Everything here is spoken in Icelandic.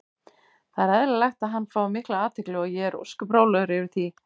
Það er eðlilegt að hann fái mikla athygli og ég er ósköp rólegur yfir því.